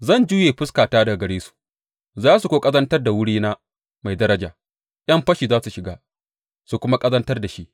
Zan juye fuskata daga gare su, za su kuwa ƙazantar da wurina mai daraja; ’yan fashi za su shiga su kuma ƙazantar da shi.